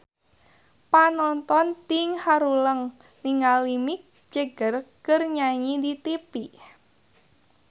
Panonton ting haruleng ningali Mick Jagger keur nyanyi di tipi